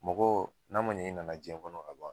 Mɔgɔ n'a man ɲɛ i nana jiyɛn kɔnɔ